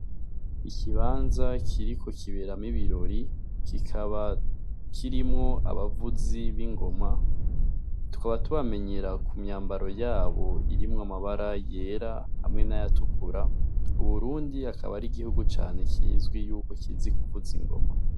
Ikibanza kiriko kiberamwo ibirori kikaba kirimwo abavuzi b'ingoma. Tukaba tubamenyera ku myambaro yabo irimwo amabara yera hamwe n'ayatukura. Uburundi akaba ari gihugu cane kizwi yuko kizi kuvuza ingoma.